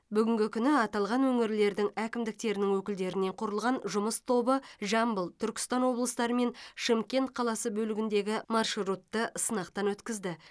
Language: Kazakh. бүгінгі күні аталған өңірлердің әкімдіктерінің өкілдерінен құрылған жұмыс тобы жамбыл түркістан облыстары мен шымкент қаласы бөлігіндегі маршрутты сынақтан өткізді